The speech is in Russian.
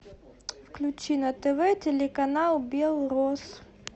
включи на тв телеканал белрос